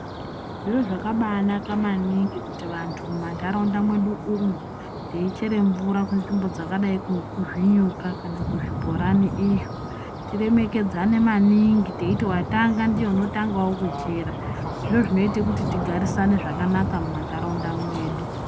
Zviro zvakabanaka maningi kuti vantu mumantaraunda mwedu umu, teichere mvura kunzvimbo dzakadai kuzvinyuka kana kuzvibhorani iyo, tiremekedzane maningi teiti watanga ndiye unotangawo kuchera, zviro zvinoite kuti tigarisane zvakanaka mumantaraunda mwedu.